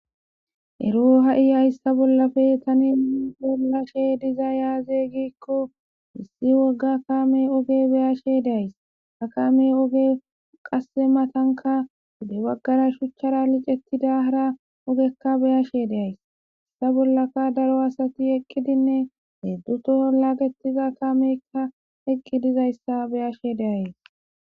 ero ha7iy hayssa bollafe tani bollashe diza yaaze giikko missi wogga kaame oge beyashe deays ha kame oge qasse matanka wude baggara shuchchara licettida hara ogekka beyashe deays issa bollaka daro asati eqqidinne heddutoo laagetiza kamekka eqqi dizayssa beyashe de'ays